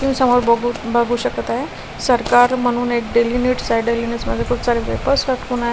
समोर बघू बघू शकत आहे सरकार म्हणून एक डेली निडस आहे डेलीनट्स मध्ये खूप सारे वेफर्स राखून आहे.